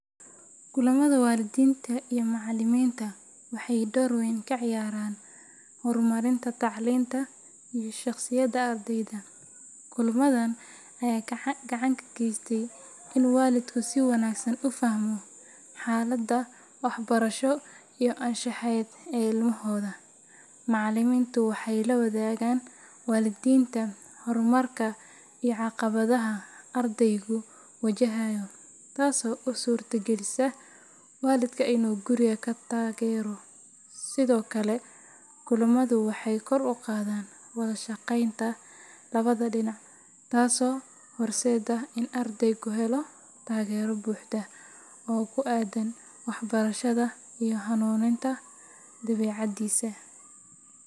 Kulamada waalidiinta iyo macallimiinta waxay door weyn ka ciyaaraan horumarinta tacliinta iyo shaqsiyadda ardayda. Kulamadan ayaa gacan ka geysta in waalidku si wanaagsan u fahmo xaaladda waxbarasho iyo anshaxeed ee ilmahooda. Macallimiintu waxay la wadaagaan waalidiinta horumarka iyo caqabadaha ardaygu wajahayo, taasoo u suurtagelisa waalidka inuu guriga ka taageero. Sidoo kale, kulamadu waxay kor u qaadaan wada shaqeynta labada dhinac taasoo horseedda in ardaygu helo taageero buuxda oo ku aaddan waxbarashada iyo hanuuninta dabeecaddiisa.